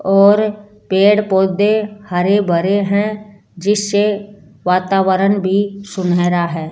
और पेड़ पौधे हरे भरे हैं जिससे वातावरण भी सुनहरा आता है।